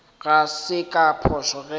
ga se ka phošo ge